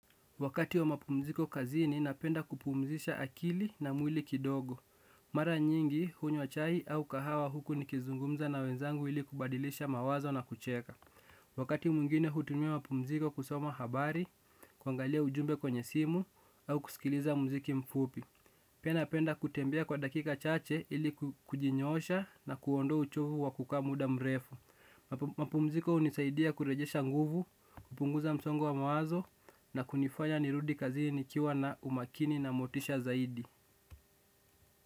Wakati wa mapumziko kazini napenda kupumzisha akili, na mwili kidogo. Mara nyingi hunywa chai au kahawa huku nikizungumza na wenzangu ili kubadilisha mawazo na kucheka. Wakati mwingine hutumia mapumziko kusoma habari, kuangalia ujumbe kwenye simu, au kusikiliza muziki mfupi. Pia napenda kutembea kwa dakika chache ili kujinyoosha na kuondoa uchovu wa kukaa muda mrefu. Mapumziko hunisaidia kurejesha nguvu, kupunguza msongo wa mawazo na kunifanya nirudi kazini nikiwa na umakini na motisha zaidi.